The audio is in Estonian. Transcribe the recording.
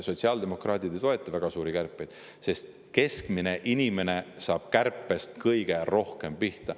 Sotsiaaldemokraadid ei toeta väga suuri kärpeid, sest keskmine inimene saab kärbetest kõige rohkem pihta.